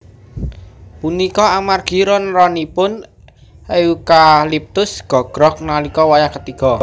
Punika amargi ron ronipun eukaliptus gogrog nalika wayah katiga